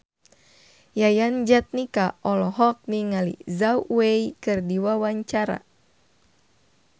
Yayan Jatnika olohok ningali Zhao Wei keur diwawancara